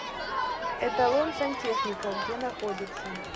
эталон сантехника где находится